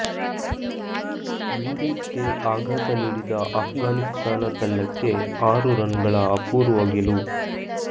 ವಿಂಡೀಸ್ಗೆ ಆಘಾತ ನೀಡಿದ ಆಫ್ಘಾನಿಸ್ತಾನ ತಂಡಕ್ಕೆ ಆರು ರನ್ಗಳ ಅಪೂರ್ವ ಗೆಲುವು